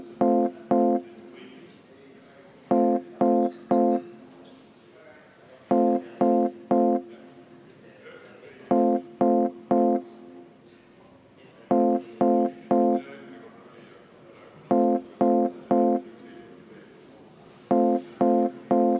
Et arutelu saaks jätkuda, tuleb meil hääletada.